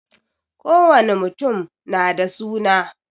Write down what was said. Kowani mutum na da suna